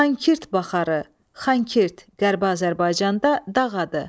Xankirt Baxarı, Xankirt Qərbi Azərbaycanda dağ adı.